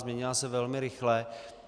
Změnila se velmi rychle.